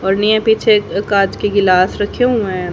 पीछे कांच के गिलास रखे हुए है।